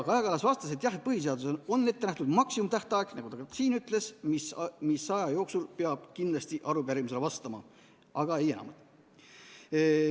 Kaja Kallas vastas, et jah, põhiseaduses on ette nähtud maksimumtähtaeg, nagu ka ta siin ütles, mis aja jooksul peab kindlasti arupärimisele vastama, aga ei enamat.